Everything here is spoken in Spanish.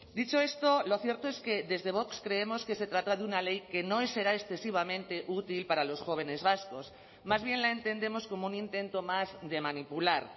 dicho esto lo cierto es que desde vox creemos que se trata de una ley que no será excesivamente útil para los jóvenes vascos más bien la entendemos como un intento más de manipular